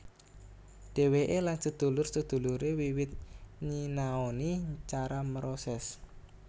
Dheweke lan sedulur sedulure wiwit nyinaoni cara mroses